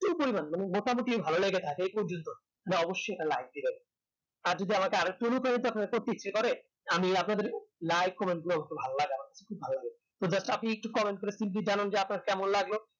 যেই পরিমান মানে মোটামোটি ভালো লেগে থাকে এই প্রজন্ত তাহলে অবশ্যই নেকটা like দেবেন আর যদি আমাকে সৃষ্টি করেন আমি আপনাদের like, comment গুলো আমাকে ভাল লাগে খুব ভাল লাগে তো just আপনি একটু comment করে জানান যে আপনার কেমন লাগলো